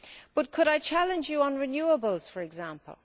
But could I challenge you on renewables, for example?